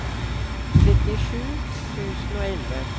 trettisju tusen og elleve